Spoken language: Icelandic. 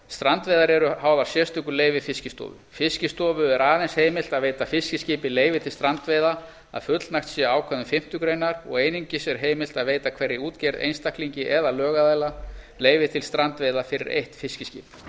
strandveiðar eru háðar sérstöku leyfi fiskistofu fiskistofu er aðeins heimilt að veita fiskiskipi leyfi til strandveiða að fullnægt sé ákvæðum fimmtu greinar og einungis er heimilt að veita hverri útgerð einstaklingi eða lögaðila leyfi til strandveiða fyrir eitt fiskiskip